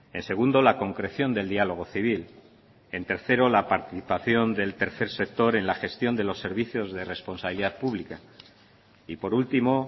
en segundo la concreción del diálogo civil en tercero la participación del tercer sector en la gestión de los servicios de responsabilidad pública y por último